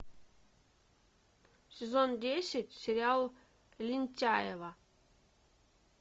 сезон десять сериал лентяево